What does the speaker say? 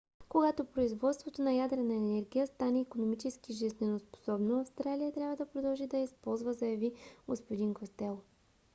когато производството на ядрена енергия стане икономически жизнеспособно австралия трябва да продължи да я използва заяви г-н костело